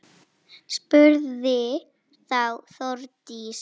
Spurði þá Þórdís: